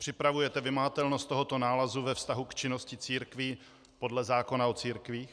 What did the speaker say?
Připravujete vymahatelnost tohoto nálezu ve vztahu k činnosti církví podle zákona o církvích?